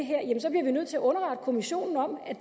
nødt til at underrette kommissionen om at